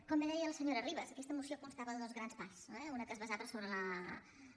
com bé deia la senyora ribas aquesta moció constava de dues grans parts una que es basava sobre la